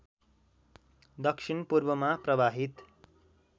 दक्षिण पूर्वमा प्रवाहित